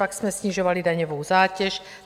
Pak jsme snižovali daňovou zátěž.